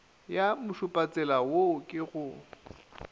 ya mošupatsela wo ke go